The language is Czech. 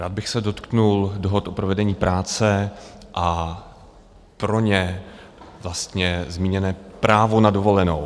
Rád bych se dotkl dohod o provedení práce a pro ně vlastně zmíněné právo na dovolenou.